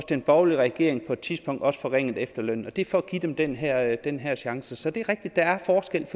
den borgerlige regering også på et tidspunkt forringede efterlønnen og det er for at give dem den her den her chance så det er rigtigt der er forskel